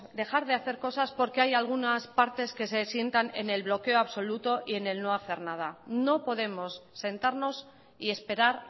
dejar de hacer cosas porque hay algunas partes que se sientan en el bloqueo absoluto y el no hacer nada no podemos sentarnos y esperar